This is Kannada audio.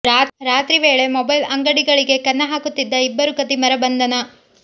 ರಾತ್ರಿ ವೇಳೆ ಮೊಬೈಲ್ ಅಂಗಡಿಗಳಿಗೆ ಕನ್ನ ಹಾಕುತ್ತಿದ್ದ ಇಬ್ಬರು ಖದೀಮರ ಬಂಧನ